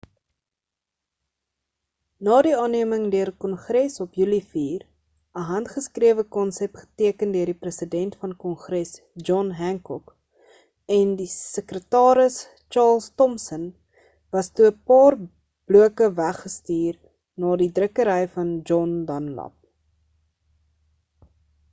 na die aanneeming deur kongres op julie 4 'n handgeskrewe konsep geteken deur die president van kongres john hancock en die sekretaris charles thomson was toe 'n paar bloke weg gestuur na die drukkery van john dunlap